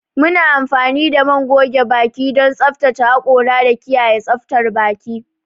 Muna amfani da man goge baki don tsaftace hakora da kiyaye tsaftar baki.